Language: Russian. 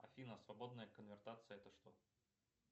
афина свободная конвертация это что